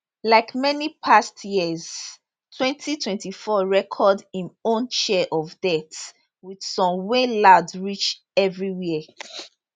like many past years 2024 record im own share of deaths wit some wey loud reach evriwia